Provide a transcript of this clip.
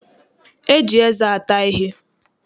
E ji eze ata ihe.